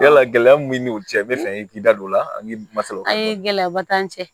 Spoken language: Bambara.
Yala gɛlɛya min b'i n'u cɛ bɛ fɛ i k'i da don o la an masaw a ye gɛlɛyaba t'an cɛ